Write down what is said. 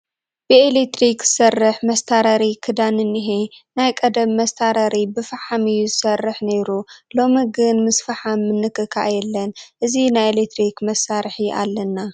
ብኤለክትሪክ ዝሰርሕ መስታረሪ ክዳን እኒሀ፡፡ ናይ ቀደም መስታረሪ ብፍሓም እዩ ዝሰርሕ ነይሩ፡፡ ሎሚ ግን ምስ ፍሓም ምንኽኻእ የለን፡፡ እዚ ናይ ኤለክትሪክ መሳርሒ ኣለና፡፡